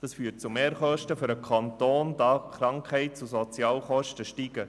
Das führt zu Mehrkosten für den Kanton, da die Krankheits- und Sozialkosten steigen.